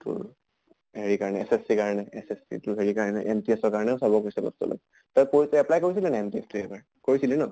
তোৰ SSC ৰ কাৰণে, SSC তো হেৰি কাৰণে MTS ৰ কাৰণেও চাব কৈছে অলপ চলপ। তই পঢ়ি তই apply কৰিছিলে নে নাই MTS তো এইবাৰ? কৰিছলি ন?